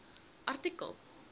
artikel